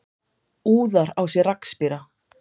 Úðar á sig rakspíra.